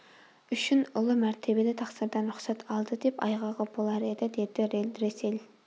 үшін ұлы мәртебелі тақсырдан рұқсат алды да айғағы болар еді деді рельдресель